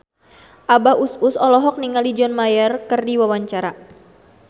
Abah Us Us olohok ningali John Mayer keur diwawancara